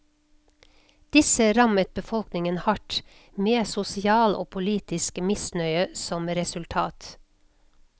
Disse rammet befolkningen hardt, med sosial og politisk misnøye som resultat.